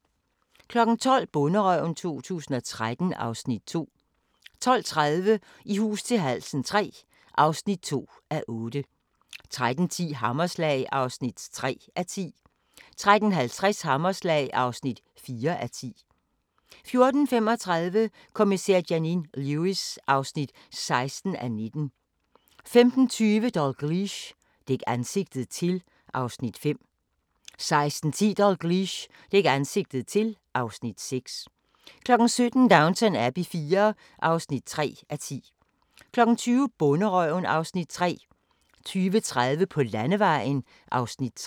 12:00: Bonderøven 2013 (Afs. 2) 12:30: I hus til halsen III (2:8) 13:10: Hammerslag (3:10) 13:50: Hammerslag (4:10) 14:35: Kommissær Janine Lewis (16:19) 15:20: Dalgliesh: Dæk ansigtet til (Afs. 5) 16:10: Dalgliesh: Dæk ansigtet til (Afs. 6) 17:00: Downton Abbey IV (3:10) 20:00: Bonderøven (Afs. 3) 20:30: På landevejen (Afs. 3)